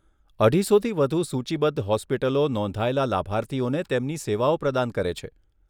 અઢીસોથી વધુ સૂચિબદ્ધ હોસ્પિટલો નોંધાયેલા લાભાર્થીઓને તેમની સેવાઓ પ્રદાન કરે છે.